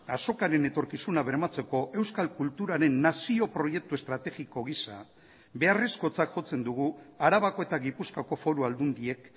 azokaren etorkizuna bermatzeko euskal kulturaren nazio proiektu estrategiko gisa beharrezkotzat jotzen dugu arabako eta gipuzkoako foru aldundiek